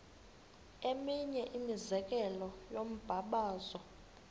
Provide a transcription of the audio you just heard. eminye imizekelo yombabazo